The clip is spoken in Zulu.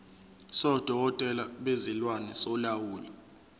sodokotela bezilwane solawulo